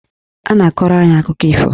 Ọ na-akọrọ anyị akụkọ ifo.